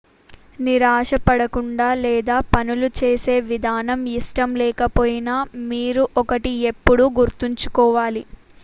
నిరాశ పడకుండా లేదా పనులు చేసే విధానం ఇష్టం లేకపోయినా మీరు ఒకటి ఎప్పుడూ గుర్తించుకోవాలి